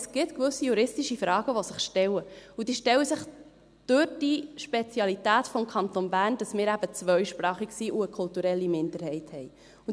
Es gibt gewisse juristische Fragen, die sich stellen, und diese stellen sich durch die Spezialität des Kantons Bern, weil wir eben zweisprachig sind und eine kulturelle Minderheit haben.